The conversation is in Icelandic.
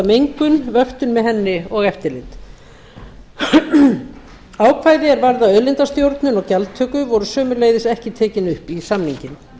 mengun vöktun með henni og eftirlit ákvæði er varða auðlindastjórnun og gjaldtöku voru sömuleiðis ekki tekin upp í samninginn